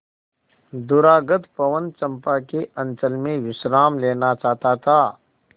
दूरागत पवन चंपा के अंचल में विश्राम लेना चाहता था